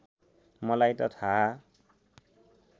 मलाई त थाहा